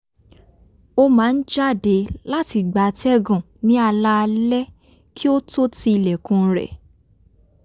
ó máa ń jáde láti gba atẹ́gùn ní alaalaẹ́ kí ó tó ti ilẹ̀kùn rẹ̀